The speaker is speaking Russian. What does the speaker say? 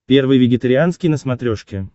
первый вегетарианский на смотрешке